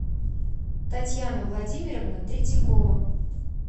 татьяна владимировна третьякова